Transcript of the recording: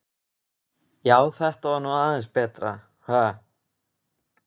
Já, þetta var nú aðeins betra, ha!